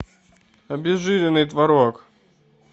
обезжиренный творог